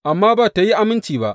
Amma ba tă yi aminci ba.